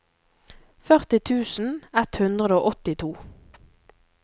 førti tusen ett hundre og åttito